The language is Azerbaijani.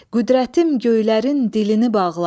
Qüdrətim göylərin dilini bağlar.